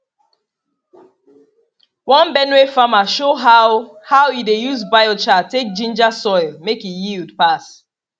one benue farmer show how how e dey use biochar take ginger soil make e yield pass